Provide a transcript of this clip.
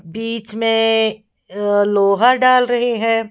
बीच में लोहा डाल रहे हैं ।